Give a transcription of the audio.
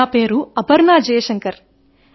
నా పేరు అపర్ణ జయశంకర్